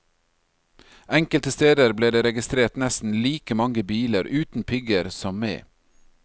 Enkelte steder ble det registrert nesten like mange biler uten pigger som med.